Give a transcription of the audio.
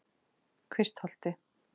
Kvistholti